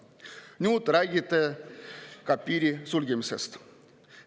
Nüüd te räägite ka piiri sulgemisest.